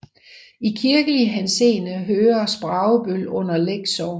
I kirkelig henseende hører Spragebøl under Læk Sogn